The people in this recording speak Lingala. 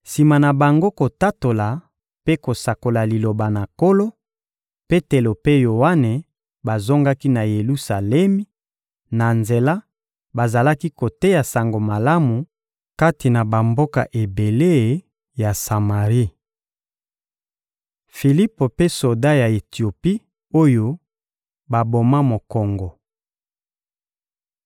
Sima na bango kotatola mpe kosakola Liloba na Nkolo, Petelo mpe Yoane bazongaki na Yelusalemi; na nzela, bazalaki koteya Sango Malamu kati na bamboka ebele ya Samari. Filipo mpe soda ya Etiopi oyo baboma mokongo